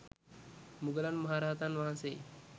මුගලන් මහ රහතන් වහන්සේ